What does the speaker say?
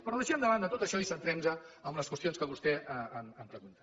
però deixem de banda tot això i centrem nos en les qüestions que vostè em pregunta